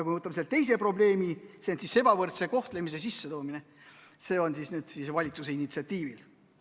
Kui me võtame teise probleemi, siis see on ebavõrdse kohtlemise kehtestamine, ja seda juba meie valitsuse initsiatiivil.